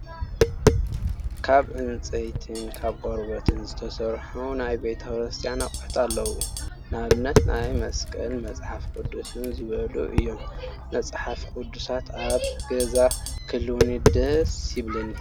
ካብ ዕንፀይትን ካብ ቆርበትን ዝተሰርሑ ናይ ቤተ-ክርስትያን ኣቁሑት ኣለው። ንኣብነት፦ ናይ መስቀል፣ መፅሓፍ ቁዱስን ዝበሉ እዮም። መፅሓፍ ቁዱስ ኣብ ገዛይ ክህልውኒ ደስስስስስስስስስስስ! ይብለኒ።